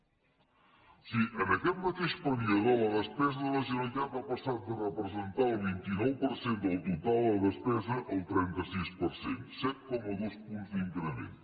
o sigui en aquest mateix període la despesa de la generalitat va passar de representar el vint nou per cent del total a despesa al trenta sis per cent set coma dos punts d’increment